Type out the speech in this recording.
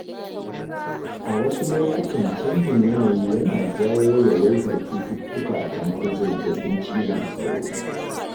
A wasu lokutan, canjin yanayi yana jawo yawaitar cututtuka kamar zazzaɓin cizon sauro.